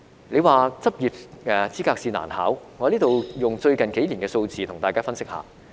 你說執業資格試難考，我在此以最近幾年的數字跟大家分析一下。